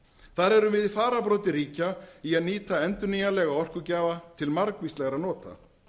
þar erum við í fararbroddi ríkja í að nýta endurnýjanlega orkugjafa til margvíslegra nota